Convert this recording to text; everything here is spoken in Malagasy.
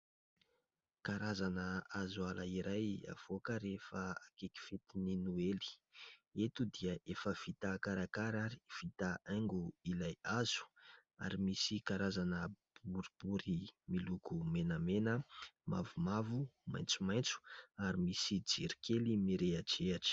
Karazana hazo ala iray avoaka rehefa akaiky fetin'ny noely. Eto dia efa vita karakara sy vita haingo ilay hazo ary misy karazana boribory miloko menamena, mavomavo, maitsomaitso ary misy jiro kely mirehidrehitra.